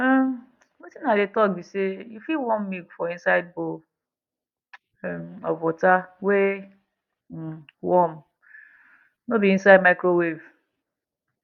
um wetin i dey talk be say you fit warm milk for inside bowl um of water wey um warm nor be inside micowave